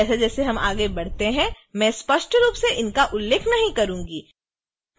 जैसे जैसे हम आगे बढ़ते हैं मैं स्पष्ट रूप से इसका उल्लेख नहीं करूंगी